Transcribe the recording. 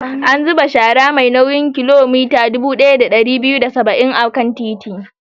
An zuba shara mai nauyin kilogiram dubu ɗaya da ɗari biyu da saba'in a bakin titi.